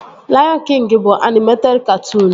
Laiọn Kịngi bụ anịmeted katụụnu